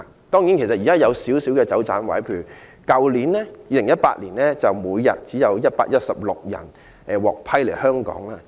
當然，現時還有少許空間、有"走盞位"，在去年每天便只有116人獲批來港。